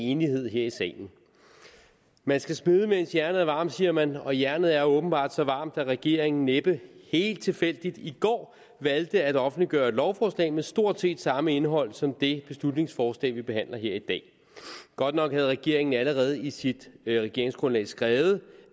enighed her i salen man skal smede mens jernet er varmt siger man og jernet er åbenbart så varmt at regeringen næppe helt tilfældigt i går valgte at offentliggøre et lovforslag med stort set samme indhold som det beslutningsforslag vi behandler her i dag godt nok har regeringen allerede i sit regeringsgrundlag skrevet